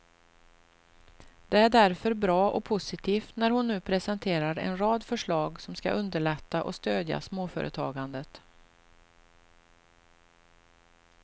Det är därför bra och positivt när hon nu presenterar en rad förslag som skall underlätta och stödja småföretagandet.